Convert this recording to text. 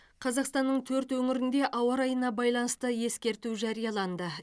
қазақстанның төрт өңірінде ауа райына байланысты ескерту жарияланды